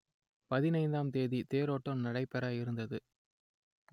பதினைந்தாம் தேதி தேரோட்டம் நடைபெற இருந்தது